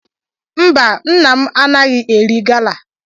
Mba nna m anaghi eri gala.